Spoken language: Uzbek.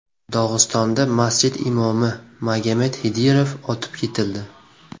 Dog‘istonda masjid imomi Magomed Xidirov otib ketildi.